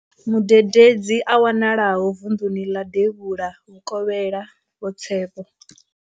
Mudededzi a wanalaho vunḓuni ḽa Devhula Vhu kovhela, Vho Tshepo.